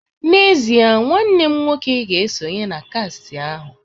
N'ezie, nwanne m nwoke ga esonye na kast ahu